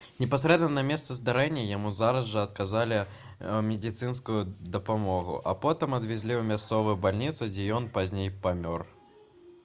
непасрэдна на месцы здарэння яму зараз жа аказалі медыцынскую дапамогу а потым адвезлі ў мясцовую бальніцу дзе ён пазней памёр